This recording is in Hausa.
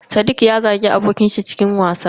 Sadiq ya zagi abokin shi cikin wasa.